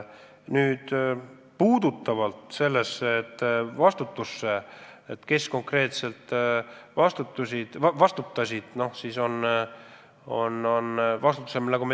Mis puutub sellesse, kes konkreetselt vastutavad, siis vastutamist on teatavasti mitu liiki.